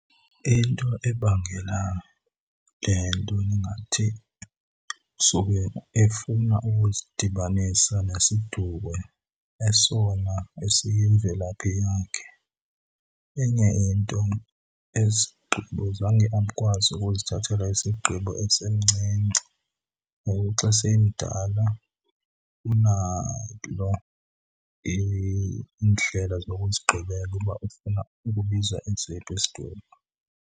Into ebangela le nto ndingathi sube efuna ukuzidibanisa nesiduko esona esiyimvelaphi yakhe. Enye into ezi zigqibo zange akwazi ukuzithathela izigqibo esemncinci, ngoku xa semdala unalo iindlela zokuzigqibela uba ufuna ukubiza esiphi isiduko.